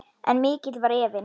En mikill var efinn.